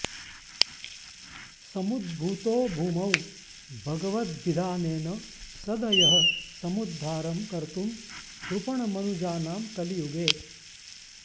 समुद्भूतो भूमौ भगवदभिधानेन सदयः समुद्धारं कर्तुं कृपणमनुजानां कलियुगे